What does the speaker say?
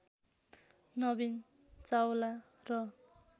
नवीन चावला र